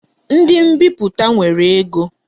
Ndi mbiputa nwere ego